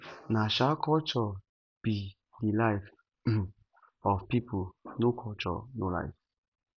na um culture be de life um of people no culture no life